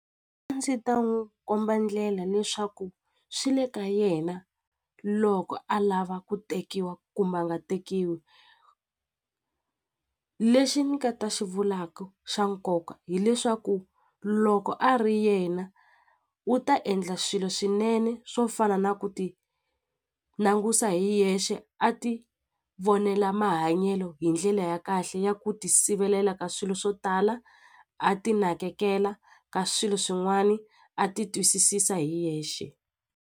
A ndzi ta n'wi komba ndlela leswaku swi le ka yena loko a lava ku tekiwa kumbe a nga tekiwi lexi ni nga ta xi vulaku xa nkoka hileswaku loko a ri yena u ta endla swilo swinene swo fana na ku ti langusa hi yexe a ti vonela mahanyelo hi ndlela ya kahle ya ku ti sivelela ka swilo swo tala a ti nakekela ka swilo swin'wani a ti twisisisa hi yexe.